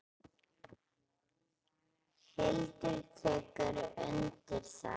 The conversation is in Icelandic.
Hildur tekur undir það.